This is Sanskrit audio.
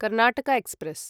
कर्णाटक एक्स्प्रेस्